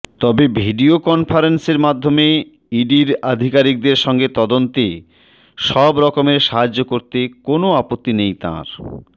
তবে ভিডিও কনফারেন্সের মাধ্যমে ইডির আধিকারিকদের সঙ্গে তদন্তে সবরকমের সাহায্য করতে কোনও আপত্তি তাঁর নেই